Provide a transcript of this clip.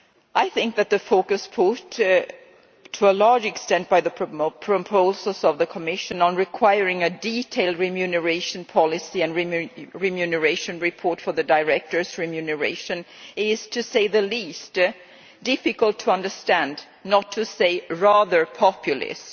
I think that the focus put to a large extent by the proposals of the Commission on requiring a detailed remuneration policy and remuneration report for the director's remuneration is, to say the least, difficult to understand, not to say rather populist.